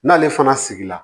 N'ale fana sigira